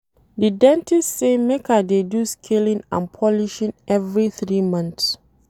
Di dentist sey make I dey do scaling and polishing every three months.